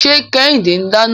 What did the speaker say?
Ṣé Kẹ́hìndé ń dáná?